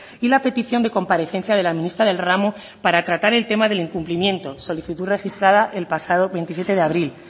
y la petición de comparecencia de la ministra del ramo para tratar el tema del incumplimiento solicitud registrada el pasado veintisiete de abril